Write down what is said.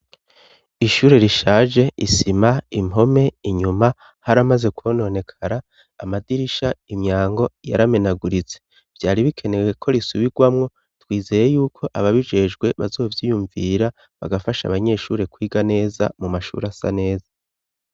Ishure rishaje. Isima, impome, inyuma haramaze kwononekara. Amadirisha, imyango yaramenaguritse. Vyari bikenewe ko risubigwamwo, twizeye y'uko ababijejwe bazovyiyumvira bagafasha abanyeshure kwiga neza ,mu mashure asa neza.